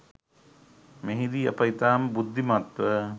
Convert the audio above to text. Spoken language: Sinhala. මෙහිදී අප ඉතාම බුද්ධිමත්ව